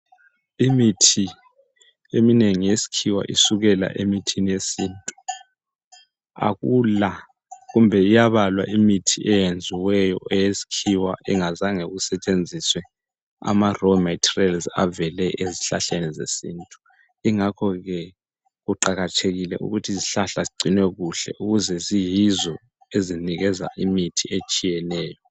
Imithi eminengi yesikhiwa isukela emithini yesintu. Akula, kumbe iyabalwa imithi eyenziweyo eyesikhiwa engazange kusetshenziswe ama raw materials avele ezihlahleni zesintu. Ingakho ke kuqakathekile ukuthi izihlahla zigcinwe kuhle ukuze ziyizo ezinikeza imithi etshiyeneyo.